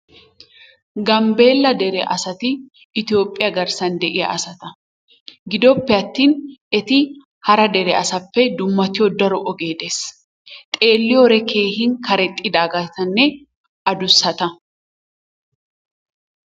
Gambeella dere asati itoophiya garsan de'iya asata gidoppe atin eti hara dereppe dummatiyo daro ogee des, xeeliyode keehi karexxidaaganne adussata.